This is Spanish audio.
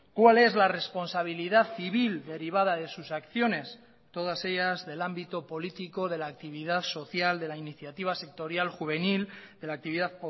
cuál es la responsabilidad civil derivada de sus acciones todas ellas del ámbito político de la actividad social de la iniciativa sectorial juvenil de la actividad